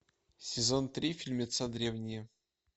сезон три фильмеца древние